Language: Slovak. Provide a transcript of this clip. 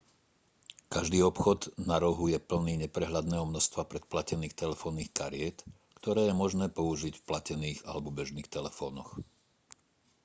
každý obchod na rohu je plný neprehľadného množstva predplatených telefónnych kariet ktoré je možné použiť v platených alebo bežných telefónoch